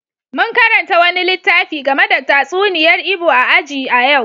Mun karanta wani littafi game da tatsuniyar Igbo a aji a yau.